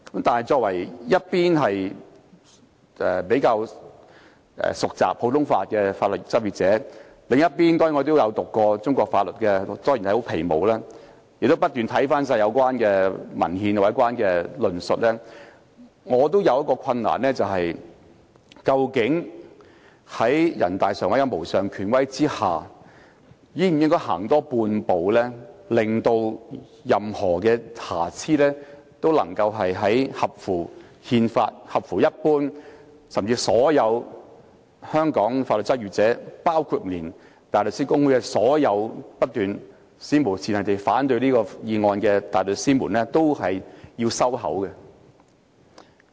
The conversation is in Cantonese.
我在一方面是較為熟習普通法的法律執業者，另一方面也曾修讀中國法律——雖然只是皮毛——亦曾不斷查看有關文獻和論述，我也遇到一個難題，便是究竟在人大常委會的無上權威下，我們應否多走半步，令到任何瑕疵也能消除，使之符合憲法，甚至令所有香港法律執業者，包括香港大律師公會內所有不斷史無前例地反對這項《條例草案》的大律師，均要閉嘴？